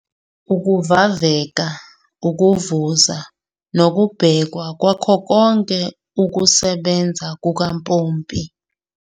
Ukuvaveka, ukuvuza nokubhekwa kwakho konke ukusebenza kukampompi.